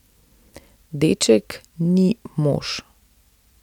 Deček ni mož.